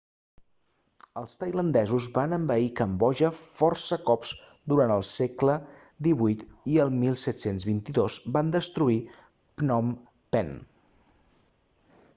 els tailandesos van envair cambodja força cops durant el segle xviii i el 1722 van destruir phnom penh